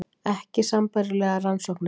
Ekki sambærilegar rannsóknir